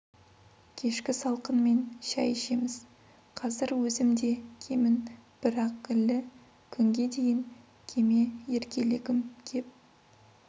кешкі салқынмен шай ішеміз қазір өзім де кемін бірақ лі күнге дейін кеме еркелегім кеп